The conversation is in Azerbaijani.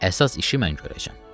Əsas işi mən görəcəm.